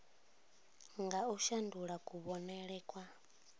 nga u shandula kuvhonele kwa